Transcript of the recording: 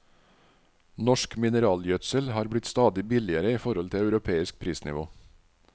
Norsk mineralgjødsel har blitt stadig billigere i forhold til europeisk prisnivå.